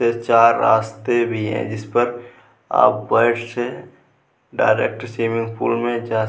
चार रास्ते भी हैं जिस पर आप पैर के डायरेक्ट स्विमिंग पूल में जा --